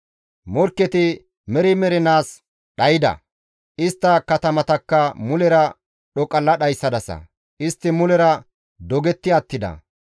Morkketi meri mernaas dhayda; istta katamatakka mulera dhoqalla dhayssadasa; istti mulera dogetti attida.